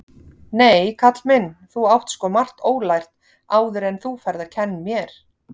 Nei, kall minn, þú átt sko margt ólært áðuren þú ferð að kenn mér.